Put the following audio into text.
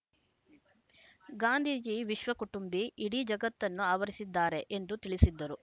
ಗಾಂಧೀಜಿ ವಿಶ್ವಕುಟುಂಬಿ ಇಡೀ ಜಗತ್ತನ್ನು ಆವರಿಸಿದ್ದಾರೆ ಎಂದು ತಿಳಿಸಿದ್ದರು